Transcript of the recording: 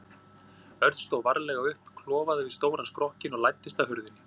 Örn stóð varlega upp, klofaði yfir stóran skrokkinn og læddist að hurðinni.